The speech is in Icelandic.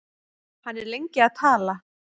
Hann er lengi að tala.